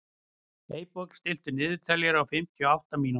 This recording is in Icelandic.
Eyborg, stilltu niðurteljara á fimmtíu og átta mínútur.